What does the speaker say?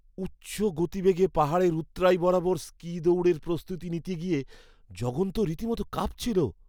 উচ্চ গতিবেগে পাহাড়ের উৎরাই বরাবর স্কি দৌড়ের প্রস্তুতি নিতে গিয়ে জগন তো রীতিমতো কাঁপছিল।